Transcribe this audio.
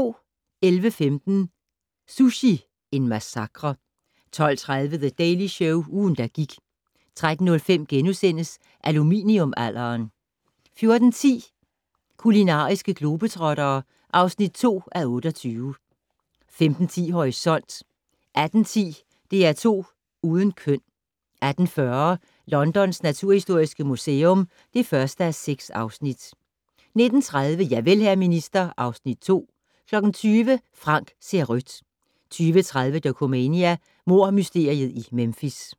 11:15: Sushi - en massakre 12:30: The Daily Show - ugen, der gik 13:05: Aluminium-alderen * 14:10: Kulinariske globetrottere (2:28) 15:10: Horisont 18:10: DR2 Uden køn 18:40: Londons naturhistoriske museum (1:6) 19:30: Javel, hr. minister (Afs. 2) 20:00: Frank ser rødt 20:30: Dokumania: Mordmysteriet i Memphis